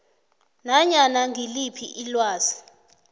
nanyana ngiliphi ilwazi